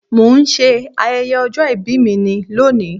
Mo ń ṣe ayẹyẹ ọjọ́ ìbí ni lónìí